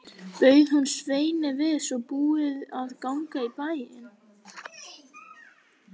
Bauð hún Sveini við svo búið að ganga í bæinn.